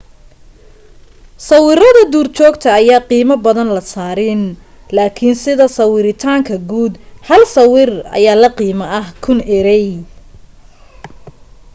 sawiradda duurjoogta ayaa qiimo badan la saarin laakin sida sawiritaanka guud hal sawir ayaa la qiimo ah kun erey